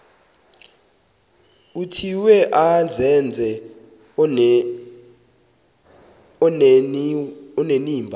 vuthiwe azenze onenimba